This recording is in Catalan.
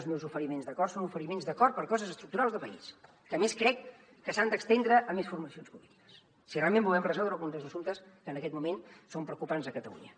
els meus oferiments d’acords són oferiments d’acord per coses estructurals de país que a més crec que s’han d’estendre a més formacions polítiques si realment volem resoldre algun dels assumptes que en aquest moment són preocupants a catalunya